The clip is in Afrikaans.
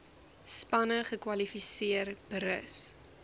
spanne kwalifiseer berus